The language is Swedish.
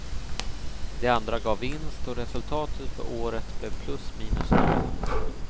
De andra gav vinst och resultatet för året blev plus minus noll.